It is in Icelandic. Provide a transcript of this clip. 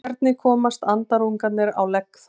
Hvernig komast andarungarnir á legg þar?